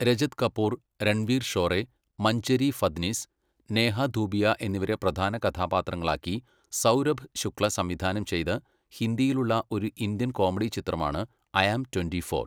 രജത് കപൂർ, രൺവീർ ഷോറെ, മഞ്ജരി ഫദ്നിസ്, നേഹ ധൂപിയ എന്നിവരെ പ്രധാന കഥാപാത്രങ്ങളാക്കി സൗരഭ് ശുക്ല സംവിധാനം ചെയ്ത ഹിന്ദിയിലുള്ള ഒരു ഇന്ത്യൻ കോമഡി ചിത്രമാണ് ഐ ആം ട്വന്റി ഫോർ.